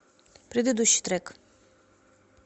предыдущий трек